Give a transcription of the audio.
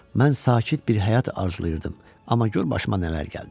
Mən sakit bir həyat arzulayırdım, amma gör başıma nələr gəldi.